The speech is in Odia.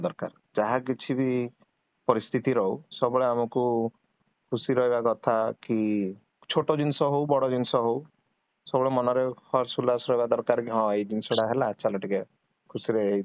ଦରକାର ଯାହା କିଛିବି ପରିସ୍ଥିତି ରହୁ ସବୁବେଳେ ଆମକୁ ଖୁସି ରେ ରହିବ କଥା କି ଛୋଟ ଜିନିଷ ହଉ ବଡ଼ ଜିନିଷ ହଉ, ସବୁବେଳେ ମନରେ ହସ ରହିବ ଦରକାର କି ହଁ ଏଇ ଜିନିଷଟା ହେଲା ଚାଲ ଟିକେ ଖୁସିରେ